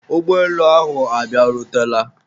ụgbọelu ahụ ọ bịarutela?